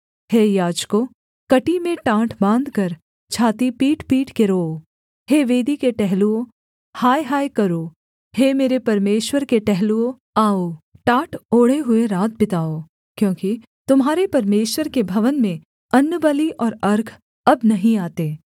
हे याजकों कमर में टाट बाँधकर छाती पीटपीट के रोओ हे वेदी के टहलुओ हाय हाय करो हे मेरे परमेश्वर के टहलुओ आओ टाट ओढ़े हुए रात बिताओ क्योंकि तुम्हारे परमेश्वर के भवन में अन्नबलि और अर्घ अब नहीं आते